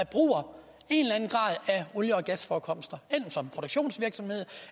bruger af olie og gasforekomster enten som produktionsvirksomhed